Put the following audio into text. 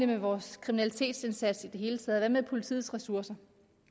med vores kriminalitetsindsats i det hele taget og med politiets ressourcer